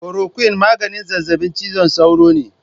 Korokwin maganin zazzabin cizon sauro ne.